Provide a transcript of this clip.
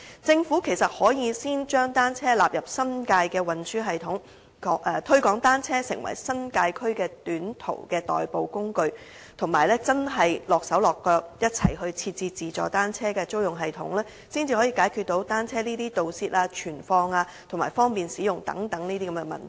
政府其實可以先將單車納入新界的運輸系統，推廣單車成為新界區的短途代步工具，以及真的身體力行地一起設置自助單車租用系統，才可以解決單車盜竊、存放和方便使用等問題。